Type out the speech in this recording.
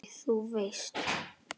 Æ, þú veist.